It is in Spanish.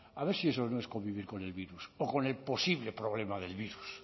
a ver si eso no es convivir con el virus o con el posible problema del virus